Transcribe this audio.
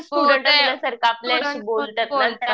Student सारखं बोलतात.